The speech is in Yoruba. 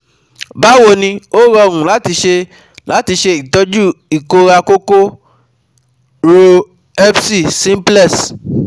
Báwo ni, ó rọrùn láti ṣe láti ṣe ìtọ́jú ìkórà kòkò rò herpes simplex